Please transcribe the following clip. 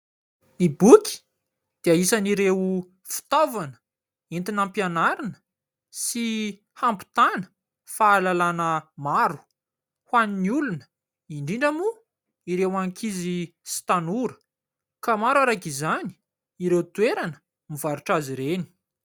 Ny boky dia isan''ireo fitaovana entina hampianarina sy hampitana fahalalàna maro ho an'ny olona. Indrindra moa ireo ankizy sy tanora; ka maro araka izany ireo toerana mivarotra azy ireny.